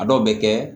A dɔw bɛ kɛ